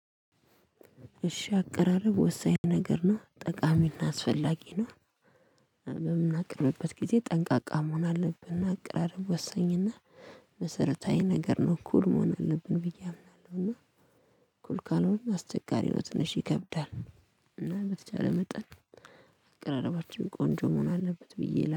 እሺ አቀራረብ ወሳኝ ነገር ነው ጠቃሚና አስፈላጊ ነው። በምናቀርብበት ጊዜ ጠንቃቃ መሆን አለብን። አቅራረብ ወሰኝና መሰረታዊ ነገር ነው። ኩል መሆን አለብን ብዬ አምናለሁ እና። ኩል ካልሆነ አስቸጋሪ ነው ትንሽ ይከብዳል። እና በተቻለ መጠን አቀራረባችን ቆንጆ መሆን አለበት ብዬ